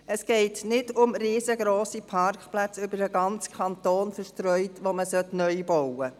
Es geht nicht um riesengrosse Parkplätze, über den ganzen Kanton verstreut, die man bauen soll.